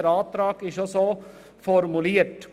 Der Antrag ist entsprechend formuliert.